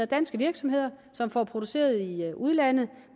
danske virksomheder som får produceret i udlandet